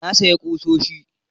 Na sayi kusoshi